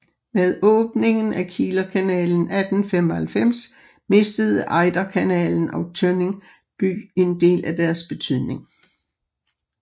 Med åbningen af Kielerkanalen 1895 mistede Ejderkanalen og Tønning by en del af deres betydning